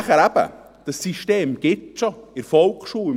Schliesslich: Dieses System gibt es bereits, in der Volksschule.